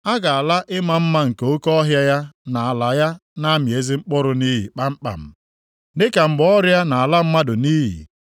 A ga-ala ịma mma nke oke ọhịa ya na ala ya na-amị ezi mkpụrụ nʼiyi kpamkpam, dịka mgbe ọrịa na-ala mmadụ nʼiyi.